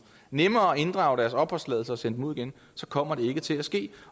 nemmere at inddrage deres opholdstilladelse og sende dem ud igen så kommer det ikke til at ske